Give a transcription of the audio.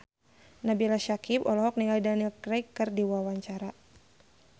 Nabila Syakieb olohok ningali Daniel Craig keur diwawancara